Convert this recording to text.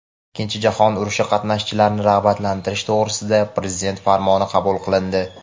"Ikkinchi jahon urushi qatnashchilarini rag‘batlantirish to‘g‘risida" Prezident Farmoni qabul qilindi.